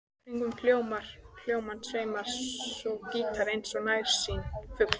Kringum hljómana sveimar svo gítarinn eins og nærsýnn fugl.